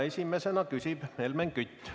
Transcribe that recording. Esimesena küsib Helmen Kütt.